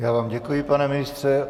Já vám děkuji, pane ministře.